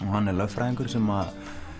hann er lögfræðingur sem